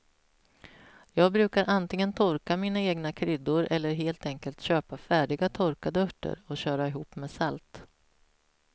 Jag brukar antingen torka mina egna kryddor eller helt enkelt köpa färdiga torkade örter och köra ihop med salt.